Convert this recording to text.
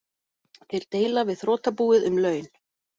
Þeir deila við þrotabúið um laun